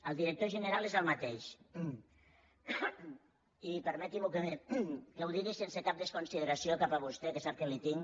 el director general és el mateix i permeti’m que ho digui sense cap desconsideració cap a vostè que sap que li tinc